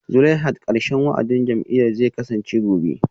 Zulaihat karshen wa'adin jam'iyyar zai kasance gobe